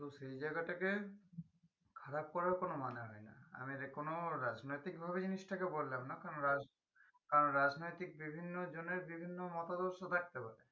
তো সেই জায়গাটাকে খারাপ করার কোনো মানে হয় না আমি এটা কোনো রাজনৈতিক ভাবে জিনিসটাকে বললাম না কারণ রাজ কারণ রাজনৈতিক বিভিন্ন জনের বিভিন্ন মতাদর্শ থাকতে পারে